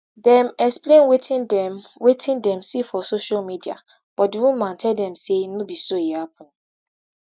dem explain wetin dem wetin dem see for social media but di woman tell dem say no be so e happun